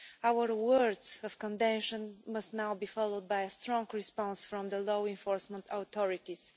Our words of condemnation must now be followed by a strong response from the law enforcement authorities.